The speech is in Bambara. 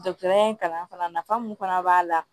Dɔkɔtɔrɔya in kalan fana nafa mun fana b'a la